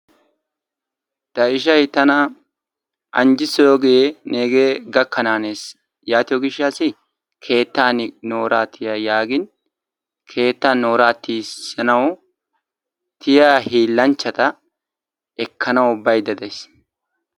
tayishayi tana anjjissiyoogee neegee gakkanaanes yaatiyoogishshaassi keettan nooraa tiya yaagiin keettan nooraa tiyissanwu tiyiyaa hiillanchchata ekkananwu bayidda dayis.